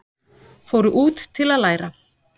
Fóru út til að læra